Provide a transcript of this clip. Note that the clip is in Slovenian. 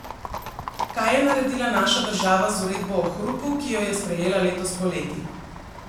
Kaj je naredila naša država z uredbo o hrupu, ki jo je sprejela letos poleti?